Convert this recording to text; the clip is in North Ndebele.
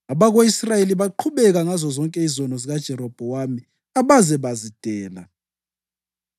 Abako-Israyeli baqhubeka ngazozonke izono zikaJerobhowamu abaze bazidela.